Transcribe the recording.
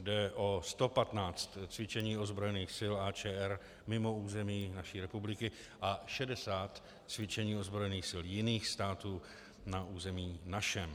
Jde o 115 cvičení ozbrojených sil AČR mimo území naší republiky a 60 cvičení ozbrojených sil jiných států na území našem.